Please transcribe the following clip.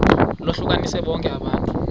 lohlukanise bonke abantu